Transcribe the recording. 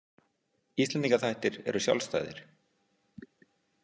Íslendingaþættir eru sjálfstæðir.